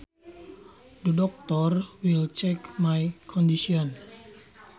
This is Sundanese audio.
The doctor will check my condition